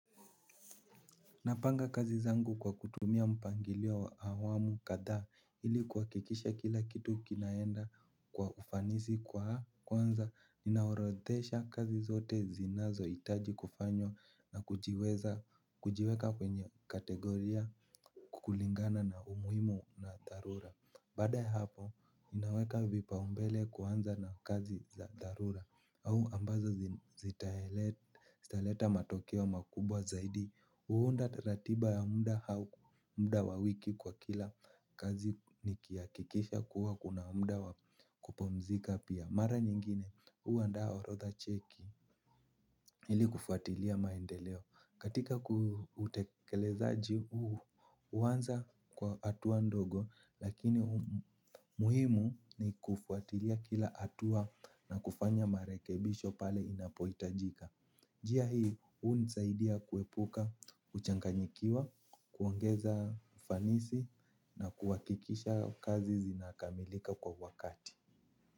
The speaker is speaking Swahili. Napanga kazi zangu kwa kutumia mpangilio wa awamu kadhaa, ili kuhakikisha kila kitu kinaenda kwa ufanisi kwa kuanza ninaorodhesha kazi zote zinazo hitaji kufanywa na kujiweza kujiweka kwenye kategoria kulingana na umuhimu na dharura baada ya hapo, inaweka vipaumbele kuanza na kazi za dharura au ambazo zitaleta matokeo makubwa zaidi. Huunda ratiba ya muda wa wiki kwa kila kazi nikihakikisha kuwa kuna muda wa kupumzika pia mara nyingine, huandaa orodha cheki. Ili kufuatilia maendeleo katika utekelezaji, huu huanza kwa hatua ndogo. Lakini muhimu ni kufuatilia kila hatua na kufanya marekebisho pale inapohitajika. Njia hii hunisaidia kuepuka kuchanganyikiwa, kuongeza ufanisi na kuhakikisha kazi zinakamilika kwa wakati.